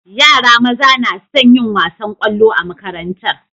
Yara maza nason yin wasan kwallo a makarantar